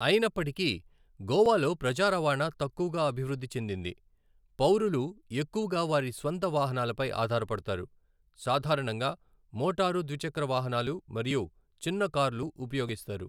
అయినప్పటికీ, గోవాలో ప్రజా రవాణా తక్కువగా అభివృద్ధి చెందింది. పౌరులు ఎక్కువగా వారి స్వంత వాహనాలపై ఆధారపడతారు, సాధారణంగా మోటారు ద్విచక్ర వాహనాలు మరియు చిన్న కార్లు ఉపయోగిస్తారు.